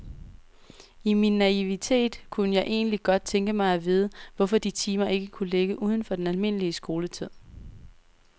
I min naivitet kunne jeg egentlig godt tænke mig at vide, hvorfor de timer ikke kunne ligge uden for den almindelige skoletid.